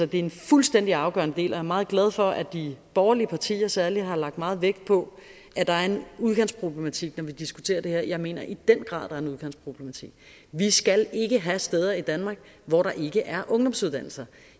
det er en fuldstændig afgørende del og meget glad for at de borgerlige partier særligt har lagt meget vægt på at der er en udkantsproblematik når vi diskuterer det her jeg mener i den grad er en udkantsproblematik vi skal ikke have steder i danmark hvor der ikke er ungdomsuddannelser